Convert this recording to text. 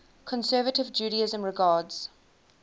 conservative judaism regards